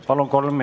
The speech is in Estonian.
Palun!